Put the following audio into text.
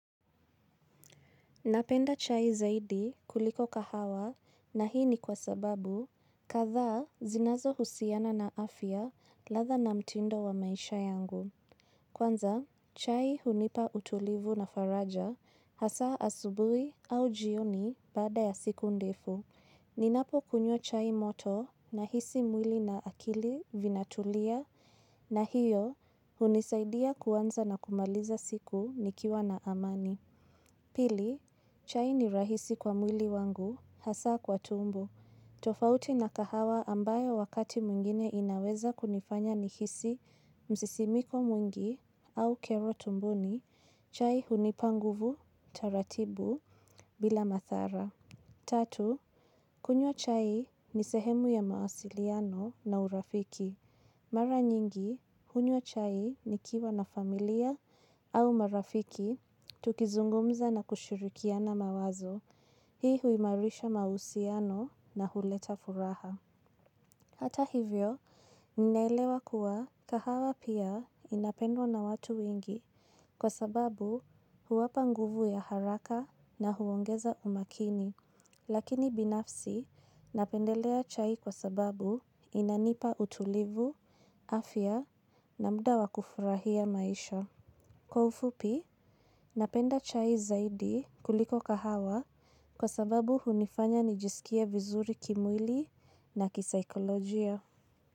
Napenda chai zaidi kuliko kahawa na hii ni kwa sababu katha zinazo husiana na afya latha na mtindo wa maisha yangu. Kwanza, chai hunipa utulivu na faraja hasa asubui au jioni bada ya siku ndefu. Ninapo kunywa chai moto na hisi mwili na akili vinatulia na hiyo hunisaidia kwanza na kumaliza siku nikiwa na amani. Pili, chai ni rahisi kwa mwili wangu, hasa kwa tumbo. Tofauti na kahawa ambayo wakati mwingine inaweza kunifanya nihisi msisimiko mwingi au kero tumboni, chai hunipanguvu, taratibu, bila mathara. Tatu, kunywa chai ni sehemu ya mausiliano na urafiki. Mara nyingi, kunywa chai ni kiwa na familia au marafiki, tukizungumza na kushirikiana mawazo. Hii huimarisha mausiano na huleta furaha. Hata hivyo, ninaelewa kuwa kahawa pia inapendwa na watu wengi kwa sababu huwapa nguvu ya haraka na huongeza umakini. Lakini binafsi, napendelea chai kwa sababu inanipa utulivu, afya na muda wakufurahia maisha. Kwa ufupi, napenda chai zaidi kuliko kahawa kwa sababu hunifanya nijisikie vizuri kimwili na kisaikolojia.